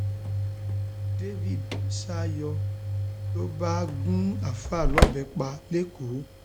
dávid sá yọ ló bá gun àáfàá lọbẹ pa lẹkọọ